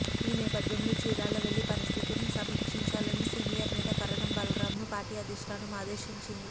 ఈ నేపథ్యంలో చీరాల వెళ్లి పరిస్థితిని సమీక్షించాలని సీనియర్ నేత కరణం బలరామ్ను పార్టీ అధిష్ఠానం ఆదేశించింది